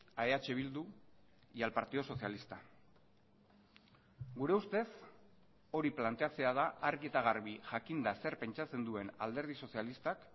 a eh bildu y al partido socialista gure ustez hori planteatzea da argi eta garbi jakinda zer pentsatzen duen alderdi sozialistak